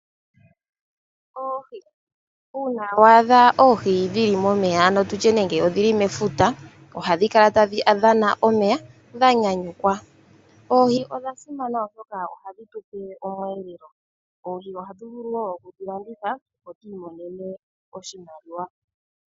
Oohi, uuna wa adha oohi dhili momeya tutye nenge omefuta ohadhi kala tadhi dhana omeya dhanyanyukwa Oohi odha simana oshoka ohadhi tupe omweelelo, oohi ohatu vulu wo okulandithwa, opo tu imonene oshimaliwa.